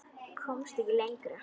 Komst ekki lengra.